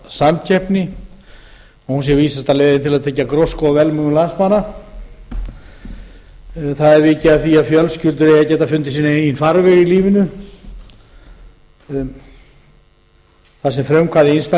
samkeppni og hún sé vísasta leiðin til að tryggja grósku og velmegun landsmanna þar er vikið að því að fjölskyldur eigi að geta fundið sinn eigi farveg í lífinu þar sem frumkvæði einstaklinganna